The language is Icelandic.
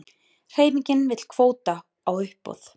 Hreyfingin vill kvóta á uppboð